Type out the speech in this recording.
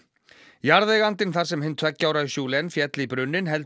jarðeigandinn þar sem hinn tveggja ára féll í brunninn heldur